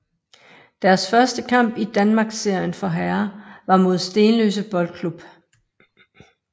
Deres første kamp i Danmarksserien for herrer var mod Stenløse Boldklub